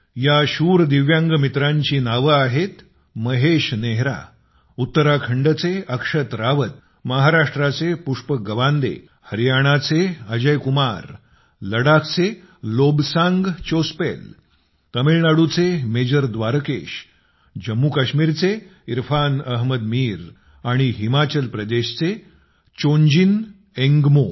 या शूर दिव्यांग मित्रांची नावं आहेत महेश नेहरा उत्तराखंडचे अक्षत रावत महाराष्ट्राचे पुष्पक गवांडे हरियाणाचे अजय कुमार लडाखचे लोब्सांग चोस्पेल तामिळनाडूचे मेजर द्वारकेश जम्मू कश्मीरचे इरफान अहमद मीर आणि हिमाचल प्रदेशचे चोंजिन एन्गमो